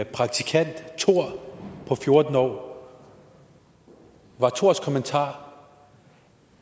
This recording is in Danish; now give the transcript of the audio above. praktikant thor på fjorten år var thors kommentar